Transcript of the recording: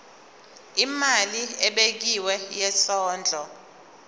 imali ebekiwe yesondlo